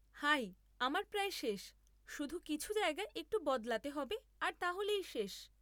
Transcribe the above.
High, আমার প্রায় শেষ; শুধু কিছু জায়গা একটু বদলাতে হবে আর তাহলেই শেষ।